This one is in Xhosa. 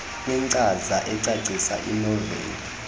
kwinkcaza ecacisa inoveli